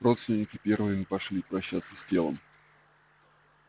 родственники первые пошли прощаться с телом